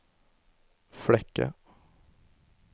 Flekke